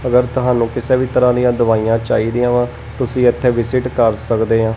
ਅਗਰ ਤੁਹਾਨੂੰ ਕਿਸੇ ਵੀ ਤਰਹਾਂ ਦਿਆਂ ਦਵਾਈਆਂ ਚਾਹੀਦੀਆਂ ਵਾਂ ਤੁਸੀ ਇੱਥੇ ਵਿਸਿਟ ਕਰ ਸੱਕਦੇਹਾਂ।